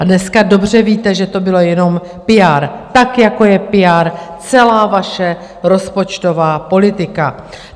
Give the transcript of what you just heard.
A dneska dobře víte, že to bylo jenom PR, tak, jako je PR celá vaše rozpočtová politika.